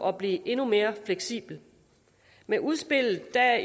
at blive endnu mere fleksibel med udspillet